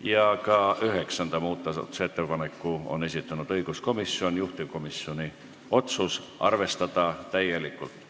ja ka üheksanda muudatusettepaneku on esitanud õiguskomisjon, juhtivkomisjoni otsus on arvestada täielikult.